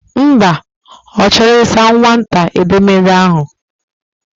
Mba, O chor isa nwata édeméèdẹ ahu.